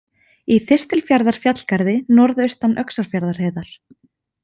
Í Þistilfjarðarfjallgarði norðaustan Öxarfjarðarheiðar.